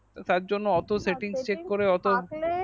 তার জন্য অত setting chek করে অত setting থাকলে